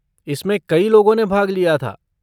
इसमें कई लोगों ने भाग लिया था।